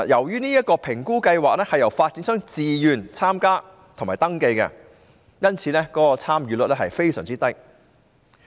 這評估計劃由發展商自願參加及登記，因此參與率非常低。